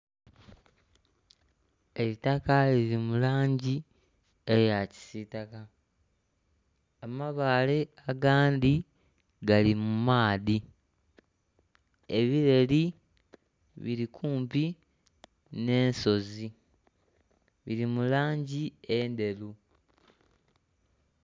Eitaka liri mu langi eya kisitaka amabaale agandhi gali mu maadhi ebireri biri kumpi nhe ensozi biri mu langi endheru.